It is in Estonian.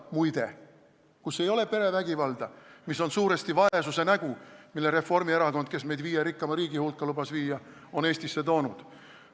Muide, kus ei ole perevägivalda, mis on suuresti vaesuse nägu, mille Reformierakond, kes meid viie rikkaima riigi hulka lubas viia, on Eestisse toonud.